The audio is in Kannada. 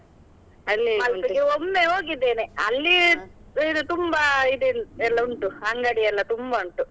ಒಮ್ಮೆ ಹೋಗಿದ್ದೇನೆ ಇದು ತುಂಬಾ ಇದ್ ಎಲ್ಲ ಉಂಟು, ಅಂಗಡಿಯೆಲ್ಲಾ ತುಂಬಾ ಉಂಟು.